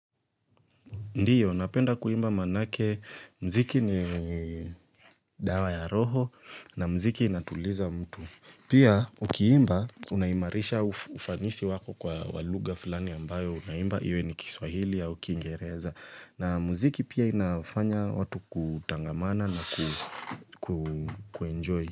Ndiyo, napenda kuimba manake, mziki ni dawa ya roho na mziki inatuliza mtu. Pia ukiimba unaimarisha ufanisi wako kwa lugha fulani ambayo unaimba iwe ni Kiswahili au ni kingereza na mziki pia inafanya watu kutangamana na ku enjoy.